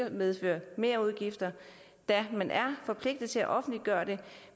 at medføre merudgifter da man er forpligtet til at offentliggøre det